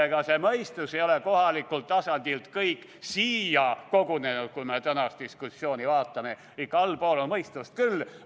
Ega see mõistus ei ole kohalikult tasandilt kõik siia kogunenud , allpool on ikka mõistust küll.